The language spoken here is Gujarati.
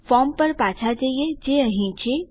ફોર્મ પર પાછા જઈએ જે અહીં છે